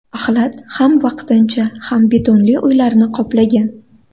Axlat ham vaqtincha, ham betonli uylarni qoplagan.